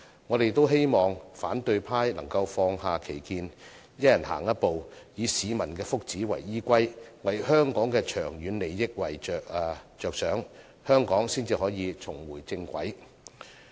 我們希望反對派能放下歧見，一人踏出一步，以市民的福祉為依歸，為香港的長遠利益着想，香港才可以重回正軌。